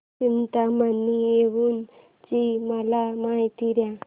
चिंतामणी थेऊर ची मला माहिती दे